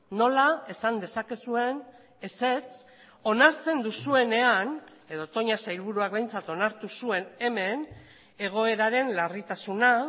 nola esan dezakezuen ezetz onartzen duzuenean edo toña sailburuak behintzat onartu zuen hemen egoeraren larritasuna